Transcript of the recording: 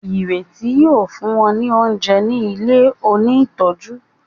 Ireti yíò fún wón ní oúnjẹ ní ilẹ òní tọjú.